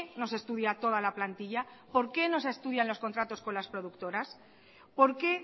no se estudia toda la plantilla por qué no se estudian los contratos con las productoras por qué